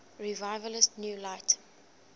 revivalist new light